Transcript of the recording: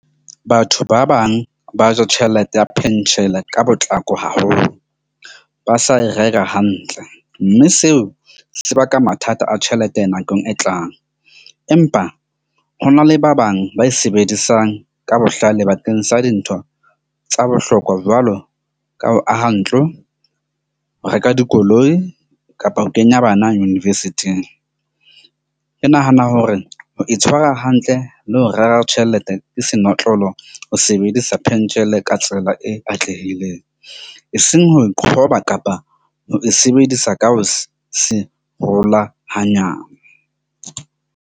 Batho ba bang ba ja tjhelete ya pension-e ka potlako haholo, ba sa e rera hantle. Mme seo se baka mathata a tjhelete nakong e tlang, empa ho na le ba bang ba e sebedisang ka bohlale bakeng sa dintho tsa bohlokwa jwalo ka ho aha ntlo, ho reka dikoloi kapa ho kenya bana university-ng. Ke nahana hore ho itshwara hantle le ho rera tjhelete ke senotlolo ho sebedisa pentjhele ka tsela e atlehileng, eseng ho e qhoba kapa ho e sebedisa ka ho se ngola hanyane.